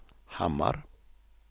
Hammar